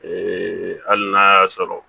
hali n'a y'a sɔrɔ